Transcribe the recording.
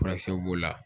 Furakisɛw b'o la